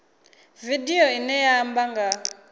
vidio ine ya amba nga